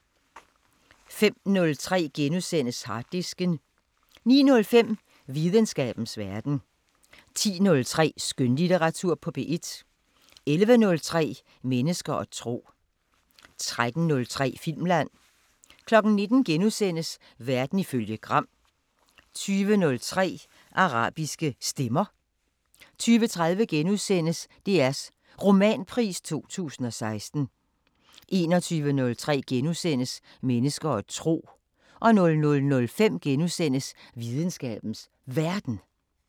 05:03: Harddisken * 09:05: Videnskabens Verden 10:03: Skønlitteratur på P1 11:03: Mennesker og tro 13:03: Filmland 19:00: Verden ifølge Gram * 20:03: Afrikanske Stemmer 20:30: DRs Romanpris 2016 * 21:03: Mennesker og tro * 00:05: Videnskabens Verden *